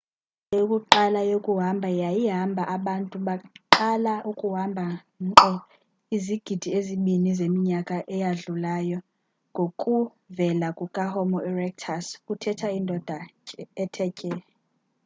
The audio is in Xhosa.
indlela yokuqala yokuhamba yayihamba abantu baqala ukuhamba nkqo izigidi ezibini zeminyaka eyadlulayo ngokuvela kukahomo erectus kuthetha indoda ethe tye